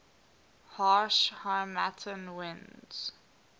harsh harmattan winds